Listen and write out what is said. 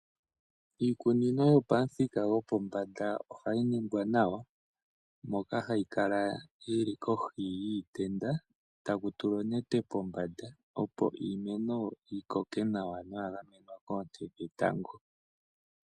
Iikunino yopamuthika gopombanda ohayi ningwa nawa, moka hayi kala yili kohi yiitenda taku tulwa onete kombanda, opo iimeno yi koke nawa ya gamenwa konte dhetango.